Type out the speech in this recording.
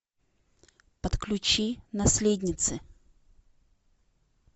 подключи наследницы